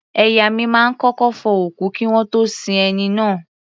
Ẹ̀yà mi máa ń kọ́kọ́ fọ òkú kí wọ́n tó sin ẹni náà.